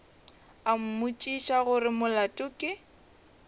a mmotšiša gore molato ke